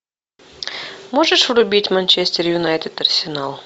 можешь врубить манчестер юнайтед арсенал